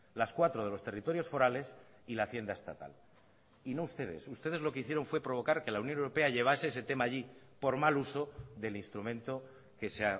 las cuatro de los territorios forales y la hacienda estatal y no ustedes ustedes lo que hicieron fue provocar que la unión europea llevase ese tema allí por mal uso del instrumento que se